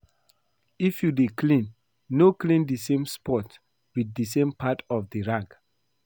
If you dey clean no clean the same spot with the same part of the rag